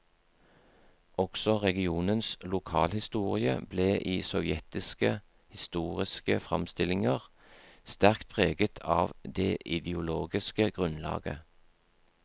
Også regionens lokalhistorie ble i sovjetiske historiske framstillinger sterkt preget av det ideologiske grunnlaget.